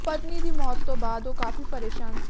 ਪਤਨੀ ਦੀ ਮੌਤ ਤੋਂ ਬਾਅਦ ਉਹ ਕਾਫ਼ੀ ਪਰੇਸ਼ਾਨ ਸੀ